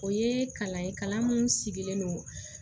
O ye kalan ye kalan min sigilen don